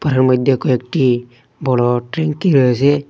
ঘরের মধ্যে কয়েকটি বড় ট্যাংকি রয়েছে।